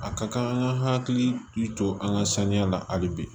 A ka kan an ka hakili to an ka sanuya la hali bi